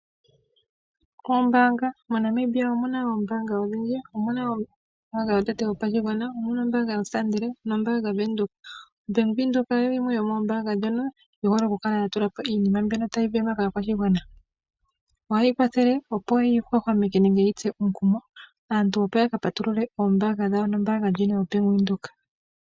Oombaanga MoNambia omu na oombanga odhindji. Omu na ombaanga yotango yopashigwana, ombaanga yoStandard nombaanga Venduka. Bank Windhoek oyo yimwe yomoombaanga ndhono yi hole okukala ya tula po iinima tayi sindanwa kaakwashigwana. Ohayi kwathele, opo yi hwahwameke nenge yi tse omukumo aantu opo ya ka patulule omayalulo gawo nombaanga ndjika yoBank Windhoek.